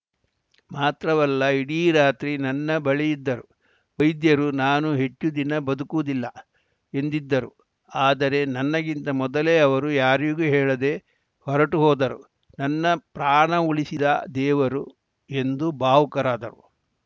ಮಾತ್ರವಲ್ಲ ಇಡೀ ರಾತ್ರಿ ನನ್ನ ಬಳಿ ಇದ್ದರು ವೈದ್ಯರು ನಾನು ಹೆಚ್ಚು ದಿನ ಬದುಕುವುದಿಲ್ಲ ಎಂದಿದ್ದರು ಆದರೆ ನನಗಿಂತ ಮೊದಲೇ ಅವರು ಯಾರಿಗೂ ಹೇಳದೆ ಹೊರಟು ಹೋದರು ನನ್ನ ಪ್ರಾಣ ಉಳಿಸಿದ ದೇವರು ಎಂದು ಭಾವುಕರಾದರು